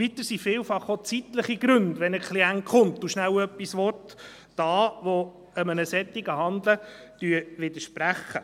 Weiter sind es, wenn ein Klient kommt und schnell etwas will, vielfach auch zeitliche Gründe, die solchem Handeln widersprechen.